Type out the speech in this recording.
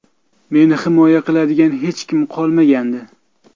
Meni himoya qiladigan hech kim qolmagandi.